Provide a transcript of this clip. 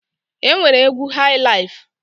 E nwere egwu haị laịf.